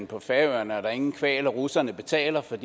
på færøerne er der ingen kvaler russerne betaler for